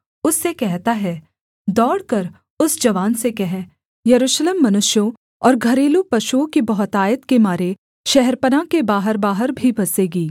उससे कहता है दौड़कर उस जवान से कह यरूशलेम मनुष्यों और घरेलू पशुओं की बहुतायत के मारे शहरपनाह के बाहरबाहर भी बसेगी